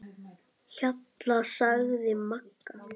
Hjalla, sagði Magga.